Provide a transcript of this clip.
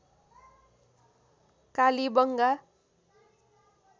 Kalibangan